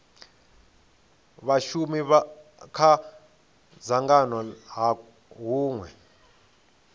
vhashumi kha dzangano ha hunwe